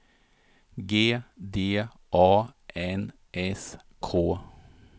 G D A N S K